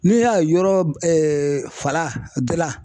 N'i y'a yɔrɔ b fala dila